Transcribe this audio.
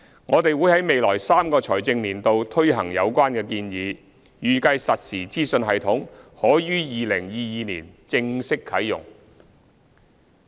我們會在未來3個財政年度推行有關建議，預計實時資訊系統可於2022年正式啟用。